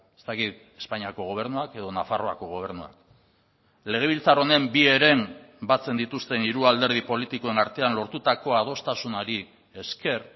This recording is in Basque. ez dakit espainiako gobernuak edo nafarroako gobernuak legebiltzar honen bi heren batzen dituzten hiru alderdi politikoen artean lortutako adostasunari esker